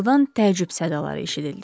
Zaldan təəccüb sədaları eşidildi.